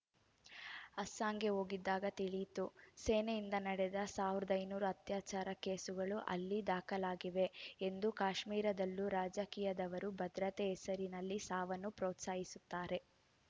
ಅಸ್ಸಾಂಗೆ ಹೋಗಿದ್ದಾಗ ತಿಳಿಯಿತು ಸೇನೆಯಿಂದ ನಡೆದ ಸಾವಿರದ ಐನೂರು ಅತ್ಯಾಚಾರ ಕೇಸುಗಳು ಅಲ್ಲಿ ದಾಖಲಾಗಿವೆ ಎಂದು ಕಾಶ್ಮೀರದಲ್ಲೂ ರಾಜಕೀಯದವರು ಭದ್ರತೆ ಹೆಸರಲ್ಲಿ ಸಾವನ್ನು ಪ್ರೋತ್ಸಾಹಿಸುತ್ತಾರೆ